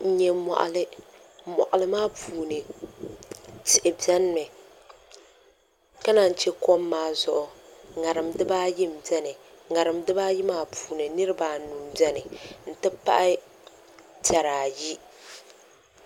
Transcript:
N nyɛ moɣali moɣali maa puuni tihi biɛni mi ka naan chɛ kom maa zuɣu ŋarim dibaayi n biɛmi ŋarim dibaayi maa puuni niraba anu n biɛni n ti pahi piɛri ayi